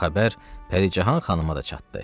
Bu xəbər Pəricahan xanıma da çatdı.